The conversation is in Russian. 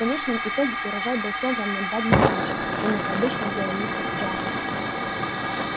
в конечном итоге урожай был собран на два дня раньше чем это обычно делал мистер джонс